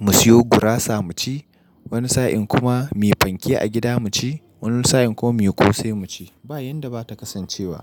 mu siyo gurasa mu ci. Wani sa'in kuma mu yi fanke a gida mu ci. Wani sa'in kuma mu yi kosai mu ci. Ba yanda ba ta kasance ba.